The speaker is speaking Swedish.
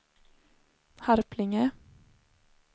Harplinge